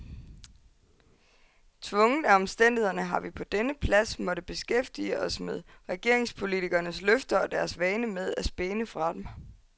Tvunget af omstændighederne har vi på denne plads måttet beskæftige os med regeringspolitikernes løfter og deres vane med at spæne fra dem.